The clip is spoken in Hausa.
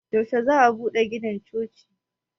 yaushe za a bude ginin chocin